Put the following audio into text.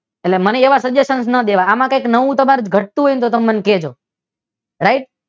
એટલે મને એવા સજેશન ના દેવા આમ નવું તમારે કઈ ઘટતું હોય તો તમે મને કેજો રાઇટ?